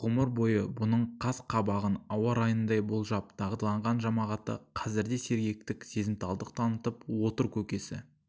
ғұмыр бойы бұның қас-қабағын ауа-райындай болжап дағдыланған жамағаты қазір де сергектік сезімталдық танытып отыр көкесі